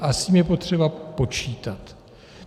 A s tím je potřeba počítat.